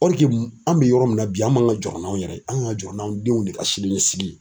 an bɛ yɔrɔ min na bi an m'an kan ka jɔɔrɔ n'anw yɛrɛ ye an kan ka jɔɔrɔ n'anw denw de ka siniɲɛsigi